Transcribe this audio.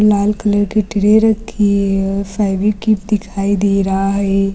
लाल colour की tray रखी है और फेविक्विक दिखाई दे रहा है।